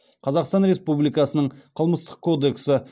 қазақстан республикасының қылмыстық кодексі